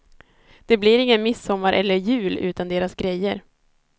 Det blir ingen midsommar eller jul utan deras grejer.